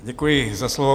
Děkuji za slovo.